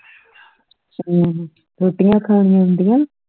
ਹਮ ਰੋਟੀਆਂ ਖਾਣੀਆਂ ਆਂਦੀਆਂ